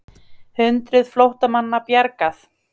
Hundruð flóttamanna bjargað